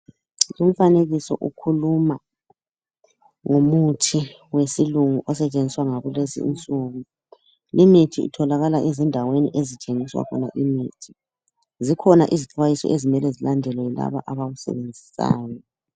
Umfanekiso ukhuluma ngomuthi wesilungu osetshenziswa ngakulezinsuku. Imithi itholakala ezindaweni ezithengisa khona imithi. Zikhona izixwayiso ezimele zilandelwe yilaba abawusebenzisayo